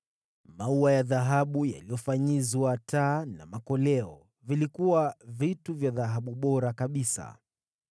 maua ya dhahabu yaliyofanyizwa, taa na makoleo (vilikuwa vya dhahabu bora kabisa);